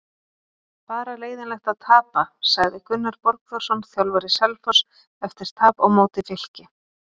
Bara leiðinlegt að tapa sagði Gunnar Borgþórsson þjálfari Selfoss eftir tap á móti Fylki.